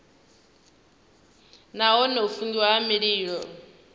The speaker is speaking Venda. nahone u fungiwa ha mililo